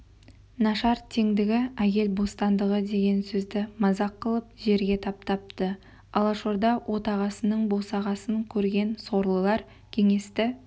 нашар теңдігі әйел бостандығы деген сөзді мазақ қылып жерге таптапты алашорда отағасының босағасын көрген сорлылар кеңесті